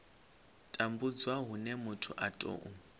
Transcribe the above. tambudzwa hune muthu a tou